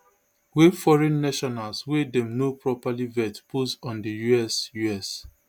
wey foreign nationals wey dem no properly vet pose on di us us